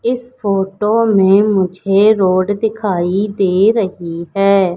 इस फोटो में मुझे रोड दिखाई दे रही है।